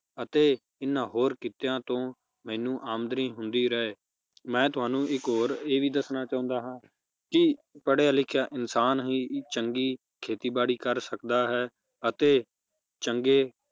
ਅਤੇ ਇਹਨਾਂ ਹੋਰ ਕੀਤਿਆਂ ਤੋਂ ਮੈਨੂੰ ਆਮਦਨੀ ਹੁੰਦੀ ਰਹੇ ਮੈ ਤੁਹਾਨੂੰ ਇਕ ਹੋਰ ਇਹ ਵੀ ਦੱਸਣਾ ਚਾਹੁੰਦਾ ਹਾਂ ਕਿ ਪੜ੍ਹਿਆ ਲਿਖਿਆ ਇਨਸਾਨ ਹੀ ਚੰਗੀ ਖੇਤੀ ਬਾੜੀ ਕਰ ਸਕਦਾ ਹੈ ਅਤੇ ਚੰਗੇ